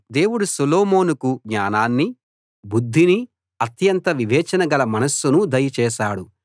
దేవుడు సొలొమోనుకు జ్ఞానాన్నీ బుద్ధినీ అత్యంత వివేచన గల మనస్సునూ దయ చేశాడు